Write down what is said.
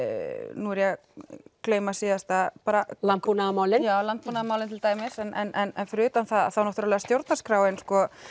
nú er ég að gleyma síðasta bara landbúnaðarmálin landbúnaðarmálin til dæmis en fyrir utan það þá er stjórnarskráin